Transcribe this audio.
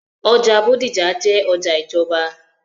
ọjà Bódìjà jẹ́ ọjà ìjọba.